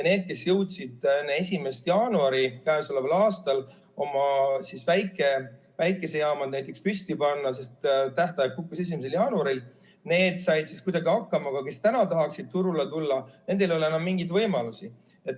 Need, kes jõudsid enne käesoleva aasta 1. jaanuari oma väiksed päikesejaamad püsti panna – tähtaeg kukkus 1. jaanuaril –, said kuidagi hakkama, aga kes täna tahaksid turule tulla, nendel ei ole mingeid võimalusi.